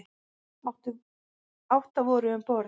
Átta voru um borð.